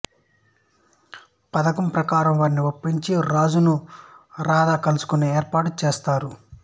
పథకం ప్రకారం వారిని ఒప్పించి రాజును రాధ కలుసుకునే ఏర్పాటు చేస్తారు